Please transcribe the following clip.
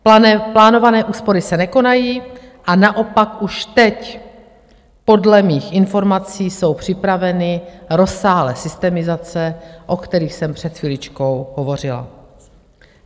Plánované úspory se nekonají, a naopak už teď podle mých informací jsou připraveny rozsáhlé systemizace, o kterých jsem před chviličkou hovořila.